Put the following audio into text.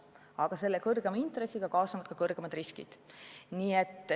Aga kõrgema intressiga kaasnevad suuremad riskid.